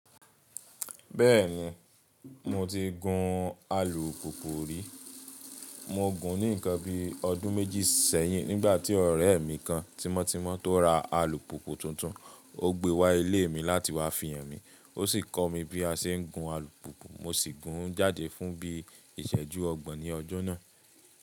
Bẹ́ẹ̀ni, mo ti gùn alùpùpù rí. Mo gùn ún ní ǹkan bíi ọdún méjì sẹ́yìn nígbà tí ọ̀rẹ́ mi kan tímọ́tímọ́ tó ra alùpùpù tuntun. Ó gbé wá ilé mi láti wá fi hàn mi. Ó sì kọ́ mi bí a ṣe ń gun alùpùpù. Mo sì gùn ún jáde fún bí iṣẹ́jú ọgbọ̀n ní ọjọ́ náà.